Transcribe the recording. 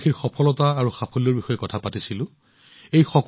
আমি দেশবাসীৰ সফলতা আৰু সাফল্যৰ বিষয়ে কথা পাতিলো